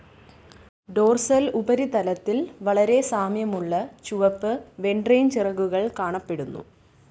Dorsal ഉപരിതലത്തിൽ വളരെ സാമ്യമുള്ള ചുവപ്പ് വെണ്ട്രേൽചിറകുകൾ കാണപ്പെടുന്നു.